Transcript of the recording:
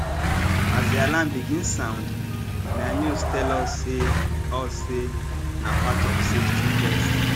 as di alarm begin sound na news tell us say us say na part of safety test